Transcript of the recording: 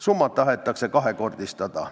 Summat tahetakse kahekordistada.